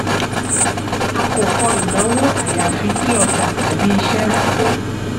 a kò kọ́ ìnáwó àyàfi tí ọjà tàbí iṣẹ́ bá pé.